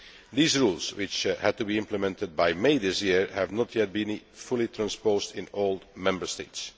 These rules, which had to be implemented by May this year, have not yet been fully transposed in all Member States.